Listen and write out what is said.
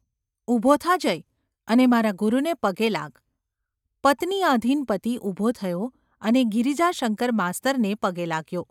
ઊભો થા, જય ! અને મારા ગુરુને પગે લાગ !’ પત્નીઆધીન પતિ ઊભો થયો અને ગિરિજાશંકર માસ્તરને પગે લાગ્યો.